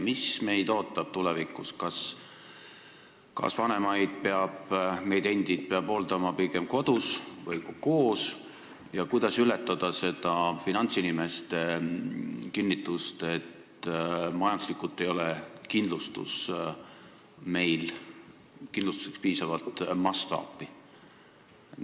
Mis meid ootab tulevikus, kas meie vanemaid ja meid endid peab hooldama pigem kodus ning kuidas saada üle finantsinimeste kinnitusest, et majanduslikult ei ole kindlustuseks piisavalt mastaapi?